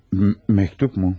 Məktubmu?